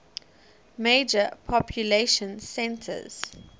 major population centers